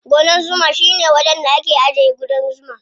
Gonan zuma shine wajen da ake ajiye ƙudan zuma.